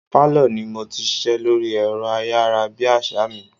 Pálọ̀ ni mo ti ṣiṣẹ́ lórí ẹ̀rọ ayára bí àsá mi.